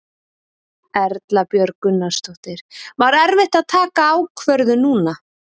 Erla Björg Gunnarsdóttir: Var erfitt að taka ákvörðun núna?